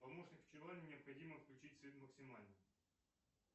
помощник в чулане необходимо включить свет максимально